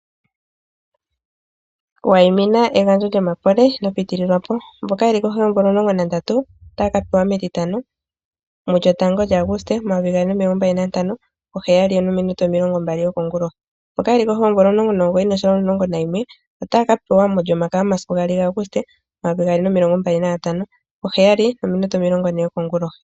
Waimina egandjo lyomakole ino pitililwa po, mboka yeli kohi yeemvula omulongo nandatu otaya ka pewa metitano mu 01 lyAguste 2025 po 07h20 yokongulohi, mboka yeli kohi yoomvula 19 noshowo 11 otaya ka pewa molyomakaya momasiku 02 gAguste 2025 po 07h40 yokongulohi.